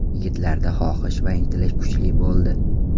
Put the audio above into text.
Yigitlarda xohish va intilish kuchli bo‘ldi.